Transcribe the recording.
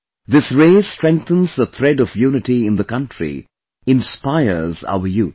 This race strengthens the thread of unity in the country, inspires our youth